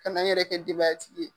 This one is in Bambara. Ka na n yɛrɛ kɛ denbaya tigi ye.